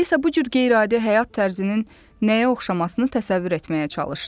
Alisa bu cür qeyri-adi həyat tərzinin nəyə oxşamasını təsəvvür etməyə çalışdı.